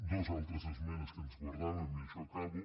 dues altres esmenes que ens guardàvem i amb això acabo